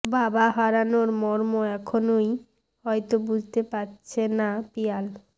বাবা হারানোর মর্ম এখনই হয়ত বুঝতে পারছে না পিয়াল